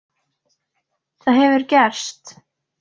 Það hefur gerst.